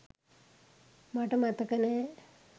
මට මතක නෑ